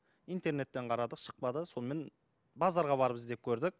интернеттен қарадық шықпады сонымен базарға барып іздеп көрдік